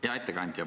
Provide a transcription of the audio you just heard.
Hea ettekandja!